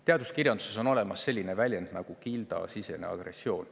Teaduskirjanduses on olemas selline väljend nagu gildisisene agressioon.